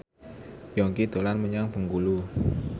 Yongki dolan menyang Bengkulu